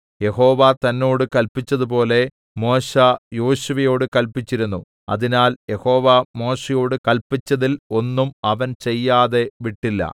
യഹോവ തന്നോട് കല്പിച്ചതുപോലെ മോശെ യോശുവയോടു കല്പിച്ചിരുന്നു അതിനാൽ യഹോവ മോശെയോട് കല്പിച്ചതിൽ ഒന്നും അവൻ ചെയ്യാതെ വിട്ടില്ല